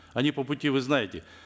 они по пути вы знаете